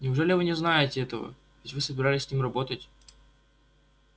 неужели вы не знаете этого ведь вы собирались с ним работать